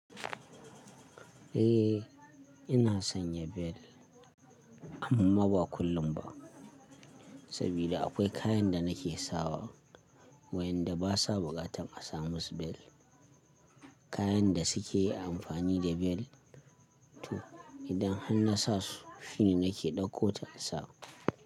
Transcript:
Eh ina sanya bel amma ba kullum ba sabida akwai kayan da nake sawa wayanda basa buƙatar a sa musu bel. Kayan da suke amfani da bel to idan han nasa su shine nake ɗauko ta insa.